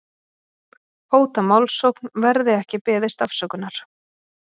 Hóta málsókn verði ekki beðist afsökunar